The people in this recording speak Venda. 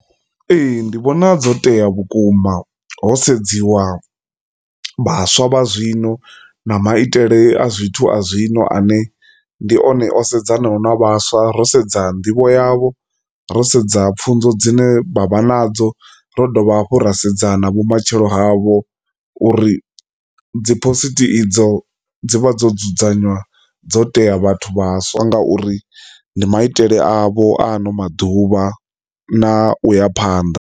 Ee, ndi vhona dzo tea vhukuma ho sedziwa vhaswa vha zwino na maitele a zwithu a zwino ane ndi one o sedzana na vhaswa ro sedza nḓivho yavho ro sedza pfhunzo dzine vha vha nadzo, ra dovha hafhu rasedza na vhumatshelo havho uri dziphosita idzo dzivha dzo dzudzanywa dzo tea vhathu vhaswa ngauri ndi maitele avho ano maḓuvha na uya phanḓa.